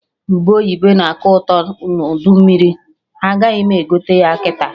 Ube oyibo na-aka atọ ụtọ n'udu mmiri, agaghị m egote ya kịta